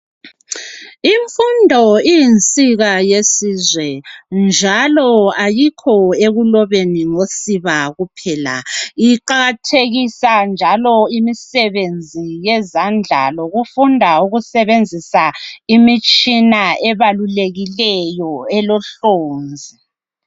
Imfundo iyinsika yesizwe njalo ayikho ekuloba ngosiba kuphela iqakathekisa njalo imsebenzi yezandla ukufunda ukusebenzisa imitshina ebalulekileyo elohlonzi